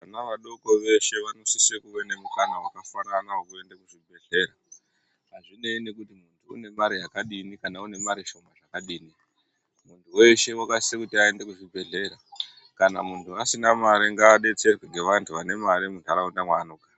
Vana vadoko veshe vanosise kuva nemukana wakafanana wekuende kuzvibhedhleya azvinei kuti muntu une mari yakadini kana kuti une mari shoma zvakadini, muntu weshe wakasisa kuti aende kuzvibhedhleya kana muntu asina mare ngaadetserwe ngevantu vari muntaraunda mwaanogara.